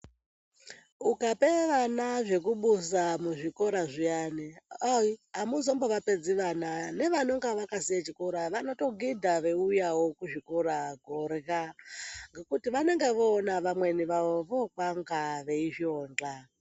Ukape vana zvekubuza muzvikora zviyani ayi, hamungazongovapedzi vana nevanonga vakasiya chikoro vanotogidha vaiuyawo kuzvikora kuhorya ngekuti vanenge voona vamweni vavo vokanga veixonda.